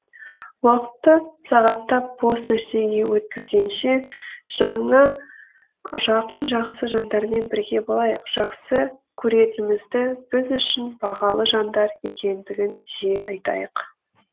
уақытты сағаттап бос нәрсеге өткізгенше жаныңа жақын жақсы жандармен бірге болайық жақсы көретінімізді біз үшін бағалы жандар екендігін жиі айтайық